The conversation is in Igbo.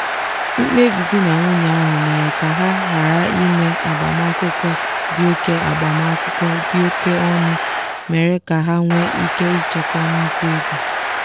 mkpebi di na nwunye ahụ mere ka ha ghara ime agbamakwụkwọ dị oke agbamakwụkwọ dị oke ọnụ mere ka ha nwee ike ịchekwa nnukwu ego.